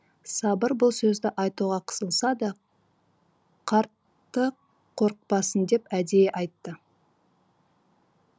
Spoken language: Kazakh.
сабыр бұл сөзді айтуға қысылса да қартты қорықпасын деп әдейі айтты